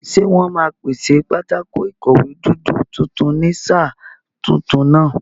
Ṣé wọ́n máa pèsè pátákó ìkọ̀wé dúdú tuntun ní sáà tuntun náà?